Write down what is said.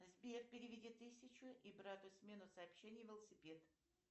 сбер переведи тысячу и брату смену сообщений велосипед